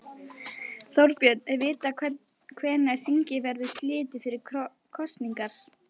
Þorbjörn, er vitað hvenær þingi verður slitið fyrir kosningar?